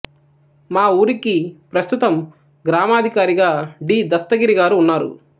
మా ఊరికి ప్రస్తుతమ్ గ్రామాధికారిగా డి దస్తగిరి గారు ఉన్నారు